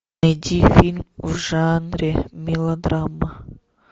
найди фильм в жанре мелодрама